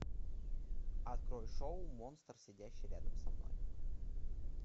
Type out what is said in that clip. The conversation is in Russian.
открой шоу монстр сидящий рядом со мной